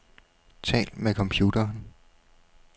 Tal med computeren.